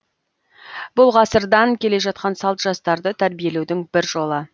бұл ғасырдан келе жатқан салт жастарды тәрбиелеудің бір жолы